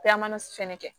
fɛnɛ kɛ